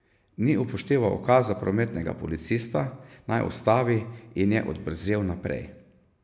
Ni upošteval ukaza prometnega policista, naj ustavi, in je odbrzel naprej.